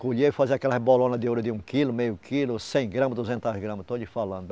Colhia e fazia aquelas bolonas de ouro de um quilo, meio quilo, cem gramas, duzentos gramas, estou te falando.